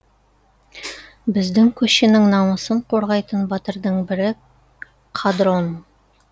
біздің көшенің намысын қорғайтын батырдың бірі қадрон